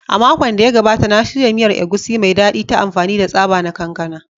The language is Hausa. A makon da ya gabata, na shirya miyar Egusi mai daɗi ta amfani da tsaba na kankana